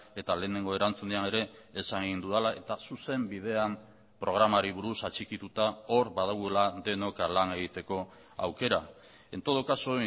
eta lehenengo erantzunean ere esan egin dudala eta zuzen bidean programari buruz atxikituta hor badagoela denok lan egiteko aukera en todo caso